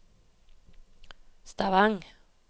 Stavang